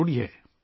یہ ضروری ہے